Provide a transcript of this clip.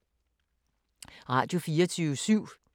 Radio24syv